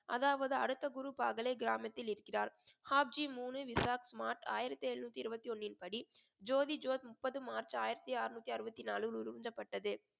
அதாவது அடுத்த குரு பாகலே கிராமத்தில் இருக்கிறார் ஆயிரத்தி எழுநூத்தி இருபத்தி ஒண்ணின்படி ஜோதி ஜோத் முப்பது மார்ச் ஆயிரத்தி அறுநூத்தி அறுபத்தி